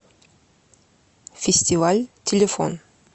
фестиваль телефон